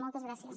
moltes gràcies